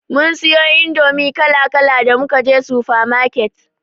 Mun siyo indomi kala kala da muka je sufa maket.